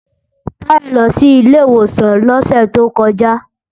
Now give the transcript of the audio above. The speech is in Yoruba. Táyọ̀ lọ sí ilé ìwòsàn lọ́sẹ̀ tó kọjá